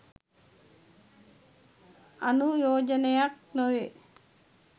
අනුයෝජනයක් නොවේ.